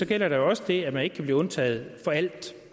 gælder der jo også det at man ikke kan blive undtaget for alt